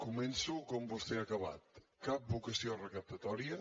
començo com vostè ha acabat cap vocació recaptatòria